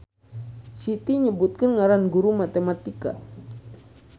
Siti nyebutkeun ngaran guru matematika